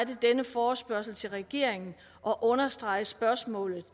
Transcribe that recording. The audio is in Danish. denne forespørgsel til regeringen og understrege spørgsmålet